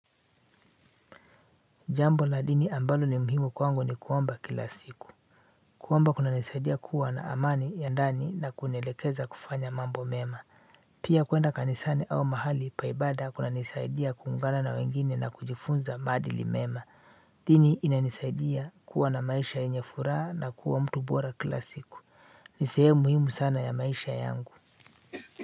Jambo la dini ambalo ni muhimu kwangu ni kuomba kila siku. Kuomba kuna nisaidia kuwa na amani ya ndani na kunielekeza kufanya mambo mema. Pia kuenda kanisani au mahali pa ibada kuna nisaidia kuungana na wengine na kujifunza madili mema. Dini ina nisaidia kuwa na maisha yenye furaha na kuwa mtu bora kila siku. Nisehemu muhimu sana ya maisha yangu.